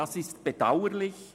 Dies ist bedauerlich.